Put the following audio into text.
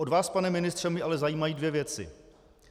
Od vás, pane ministře, mě ale zajímají dvě věci.